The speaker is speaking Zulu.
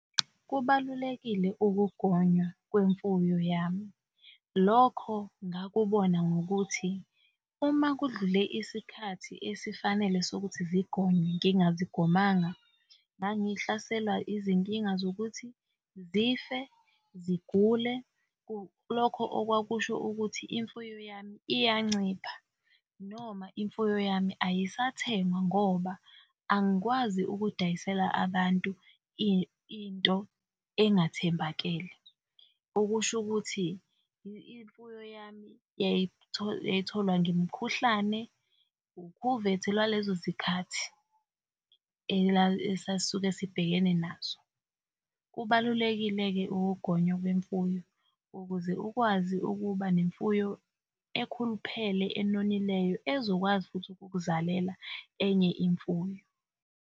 Kubalulekile ukugonywa kwemfuyo yami. Lokho ngakubona ngokuthi uma kudlule isikhathi esifanele sokuthi zigonywe ngingazigomanga, ngangihlaselwa izinkinga zokuthi zife, zigule, lokho okwakusho ukuthi imfuyo yami iyancipha noma imfuyo yami ayisathengwa ngoba angikwazi ukuy'dayisela abantu into engathembakele, okusho ukuthi imfuyo yami yayitholwa ngemkhuhlane ukhuvethe lwalezo zikhathi esasuke sibhekene nazo. Kubalulekile-ke ukugonywa kwemfuyo ukuze ukwazi ukuba nemfuyo ekhuluphele enonileyo ezokwazi futhi ukuk'zalela enye imfuyo.